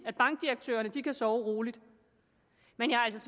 at bankdirektørerne kan sove roligt men jeg